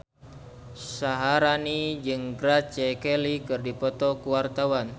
Syaharani jeung Grace Kelly keur dipoto ku wartawan